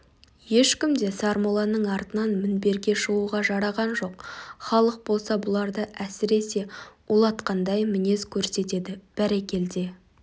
ешкім де сармолланың артынан мінберге шығуға жараған жоқ халық болса бұларды әсіресе улатқандай мінез көрсетеді бәрекелде